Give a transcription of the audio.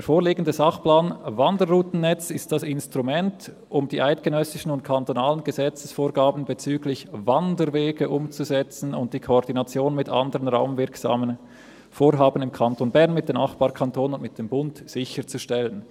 «Der vorliegende Sachplan Wanderroutennetz ist das Instrument, um die eidgenössischen und kantonalen Gesetzesvorgaben bezüglich Wanderwege umzusetzen und die Koordination mit anderen raumwirksamen Vorhaben im Kanton Bern, mit den Nachbarkantonen und mit dem Bund sicherzustellen.